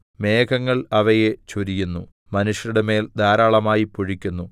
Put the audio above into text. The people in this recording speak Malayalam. മേഘങ്ങൾ അവയെ ചൊരിയുന്നു മനുഷ്യരുടെമേൽ ധാരാളമായി പൊഴിക്കുന്നു